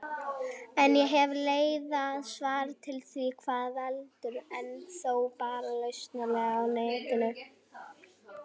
En ég hef leitað svara við því hvað veldur, en þó bara lauslega á Netinu.